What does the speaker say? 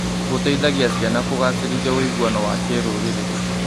Gũteithagia ciana kũgacĩrithia ũiguano wa kĩrũrĩrĩ.